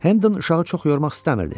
Hendon uşağı çox yormaq istəmirdi.